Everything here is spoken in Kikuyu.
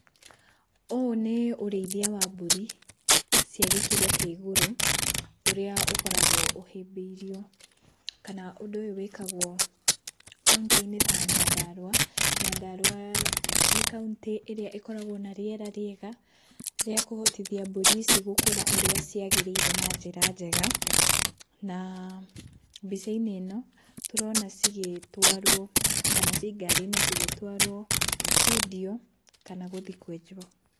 Ũũ nĩ ũrĩithia wa mbũri cia gĩkĩro kĩa igũrũ ũrĩa ũkoragwo ũhĩbĩirio kana ũndũ ũyũ wĩkagwo kauntĩinĩ ta Nyandarũa, Nyandarũa nĩ kauntĩ ĩrĩa ĩkoragwo na rĩera rĩega rĩakũhotithia mbũri ici gũkũra ũrĩa ciagĩrĩire na njĩra njega na uhh mbicainĩ ino tũrona cigĩtwaro kana ci ngari-inĩ cigĩtwaro kwendio kana gũthiĩ kwenjũo.